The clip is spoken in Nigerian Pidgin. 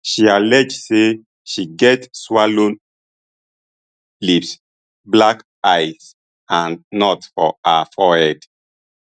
she allege say she get swollen lips black eyes and knots for her forehead